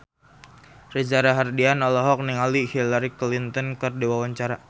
Reza Rahardian olohok ningali Hillary Clinton keur diwawancara